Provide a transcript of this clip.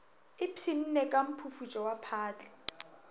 ipshinne ka mphufutšo wa phatla